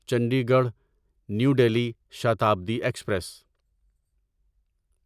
Chandigarh new Delhi Shatabdi express